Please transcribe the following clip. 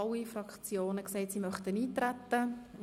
Alle Fraktionen haben gesagt, dass sie eintreten möchten.